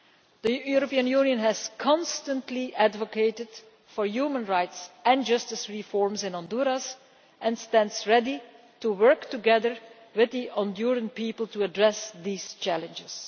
The European Union has constantly advocated human rights and justice reforms in Honduras and stands ready to work together with the Honduran people to address these challenges.